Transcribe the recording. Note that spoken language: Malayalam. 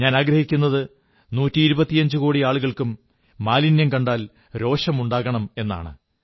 ഞാനാഗ്രഹിക്കുന്നത് നൂറ്റിയിരുപത്തിയഞ്ചുകോടി ആളുകൾക്കും മാലിന്യം കണ്ടാൽ രോഷമുണ്ടാകണമെന്നാണ്